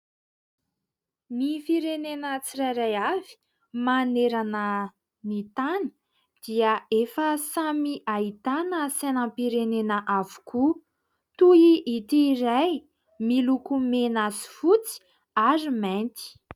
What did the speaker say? Ny firenena tsirairay avy manerana ny tany dia efa samy ahitana sainam-pirenena avokoa toy ity iray miloko mena sy fotsy ary mainty.